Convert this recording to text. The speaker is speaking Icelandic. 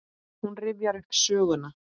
Hún rifjar upp söguna.